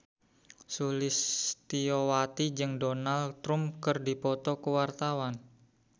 Sulistyowati jeung Donald Trump keur dipoto ku wartawan